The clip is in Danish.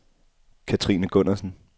Katrine Gundersen